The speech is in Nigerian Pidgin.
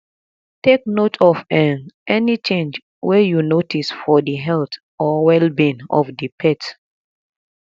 take note of um any change wey you notice for di health or wellbeing of di pet